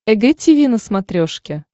эг тиви на смотрешке